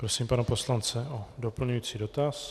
Prosím pana poslance o doplňující dotaz.